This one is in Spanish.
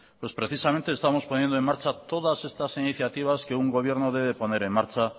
pues precisamente estamos poniendo en marcha todas estas iniciativas que un gobierno debe poner en marcha